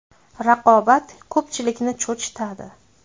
Raqobat ko‘pchilikni cho‘chitadi.